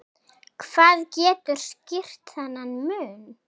Hvað getur skýrt þennan mun?